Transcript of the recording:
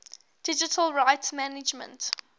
digital rights management